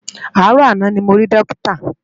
Aárò àná ni mó ri Dókitá